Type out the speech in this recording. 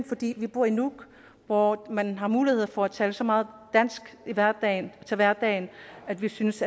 fordi vi bor i nuuk hvor man har mulighed for at tale så meget dansk i hverdagen hverdagen at vi synes